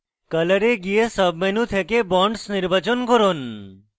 color এ গিয়ে sub menu থেকে bonds নির্বাচন করুন